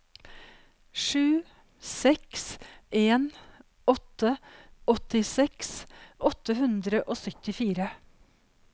sju seks en åtte åttiseks åtte hundre og syttifire